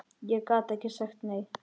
Ég gat ekki sagt nei.